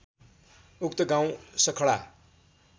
उक्त गाउँ सखडा